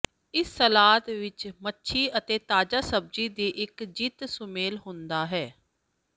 ਇਸ ਸਲਾਦ ਵਿੱਚ ਮੱਛੀ ਅਤੇ ਤਾਜ਼ਾ ਸਬਜ਼ੀ ਦੀ ਇੱਕ ਜਿੱਤ ਸੁਮੇਲ ਹੁੰਦਾ ਹੈ